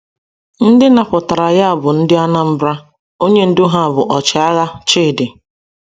Ndị napụtara ya bụ ndị Anambra, onye ndụ ha bụ ọchịagha, Chidi.